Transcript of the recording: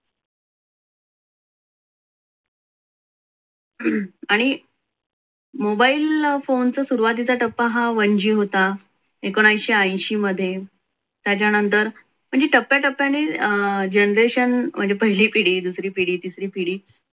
आणि mobile phone सुरुवातीचा टप्पा हा one g होता. एकोणविशे अंशी मध्ये त्याच्यानंतर म्हणजे टप्प्याटप्प्याने अं generation म्हणजे पहिली पिढी, दुसरी पिढी, तिसरी पिढी